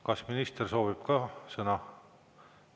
Kas minister soovib ka sõna?